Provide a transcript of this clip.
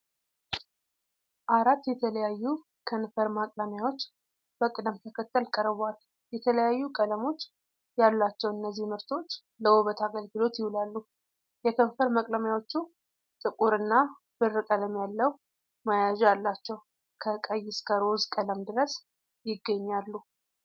አራት የተለያዩ ከንፈር መቅለሚያዎች በቅደም ተከተል ቀርበዋል። የተለያዩ ቀለሞች ያሏቸው እነዚህ ምርቶች ለውበት አገልግሎት ይውላሉ። የከንፈር መቅለሚያዎቹ ጥቁር እና ብር ቀለም ያለው መያዣ አላቸው። ከቀይ እስከ ሮዝ ቀለም ድረስ ይገኛሉ።